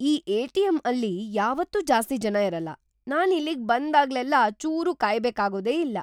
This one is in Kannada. ಈ ಎ.ಟಿ.ಎಂ.ಅಲ್ಲಿ ಯಾವತ್ತೂ ಜಾಸ್ತಿ ಜನ ಇರಲ್ಲ.. ನಾನ್ ಇಲ್ಲಿಗ್ ಬಂದಾಗ್ಲೆಲ್ಲ ಚೂರೂ ಕಾಯ್ಬೇಕಾಗೋದೇ ಇಲ್ಲ!